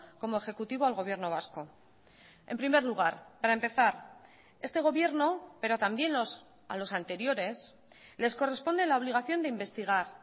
como ejecutivo al gobierno vasco en primer lugar para empezar este gobierno pero también a los anteriores les corresponde la obligación de investigar